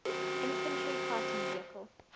infantry fighting vehicle